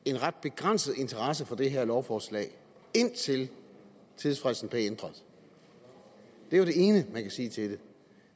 en ret begrænset interesse for det her lovforslag indtil tidsfristen blev ændret det er jo det ene man kan sige til det